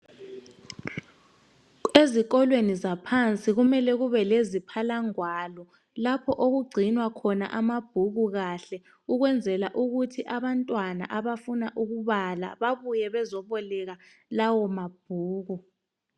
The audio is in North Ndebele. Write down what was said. Ezikolweni zaphansi kumele kube leziphalangwalo, lapho okugcinwa khona amabhuku kahle ukwenzela ukuthi abantwana abafuna ukubala babuye bezoboleka lawo mabhuku.